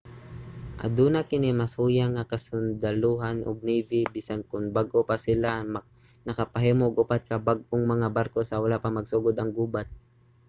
aduna kini mas huyang nga kasundalohan ug navy bisan kon bag-o pa sila nakapahimo og upat ka bag-ong mga barko sa wala pa magsugod ang gubat